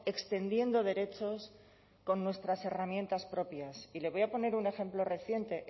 extendiendo derechos con nuestras herramientas propias y le voy a poner un ejemplo reciente